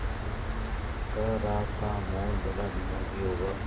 कह रहा था मोहन बड़ा दिमागी होगा